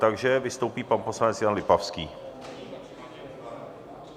Takže vystoupí pan poslanec Jan Lipavský...